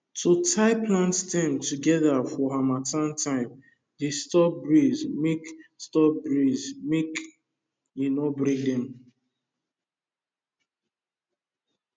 to tie plant stems together for harmattan time dey stop breeze mk stop breeze mk e no break them